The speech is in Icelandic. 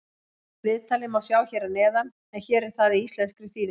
Viðtalið má sjá hér að neðan en hér er það í íslenskri þýðingu.